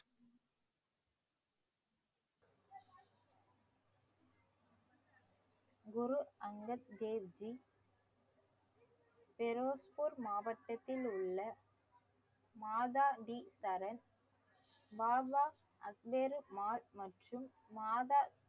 குரு அங்கர் தேவ்ஜி பெரோஸ்பூர் மாவட்டத்தில் உள்ள மாதா வி தரன் மற்றும் மாதா